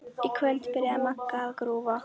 Í kvöld byrjaði Magga að grúfa.